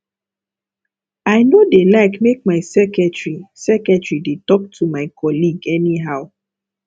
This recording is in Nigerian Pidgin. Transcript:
i no dey like make my secretary secretary dey talk to my colleague anyhow